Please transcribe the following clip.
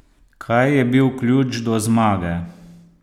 Kaj je bil ključ do zmage?